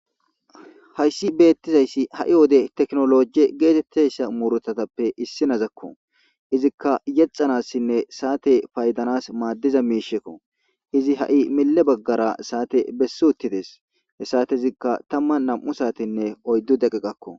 hayssi beettizayssi ha7i wode teknoloje geetetteyssa muurothatappe issinazakko izikka yexanassinne saate paydanas maaddiza miishekko izi ha7i mile baggara saate bessi uttides hessate izikka tamma nam7u saatinne oyddu deqe qakko